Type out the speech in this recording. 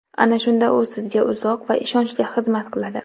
Ana shunda u sizga uzoq va ishonchli xizmat qiladi.